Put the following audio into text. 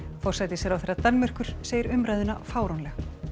forsætisráðherra Danmerkur segir umræðuna fáránlega